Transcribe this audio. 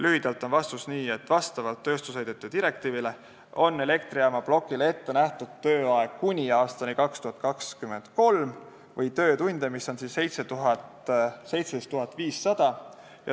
Lühidalt öeldes on vastus see, et vastavalt tööstusheidete direktiividele on elektrijaamaplokile ette nähtud tööaeg kuni aastani 2023 või 17 500 töötundi.